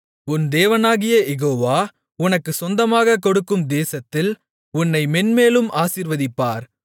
உன் தேவனாகிய யெகோவா உனக்குச் சொந்தமாக கொடுக்கும் தேசத்தில் உன்னை மேன்மேலும் ஆசீர்வதிப்பார்